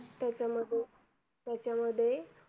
तर त्याच्यामध्ये त्याच्यामध्ये